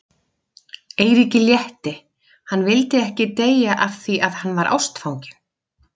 Eiríki létti, hann vildi ekki deyja af því að hann var ástfanginn.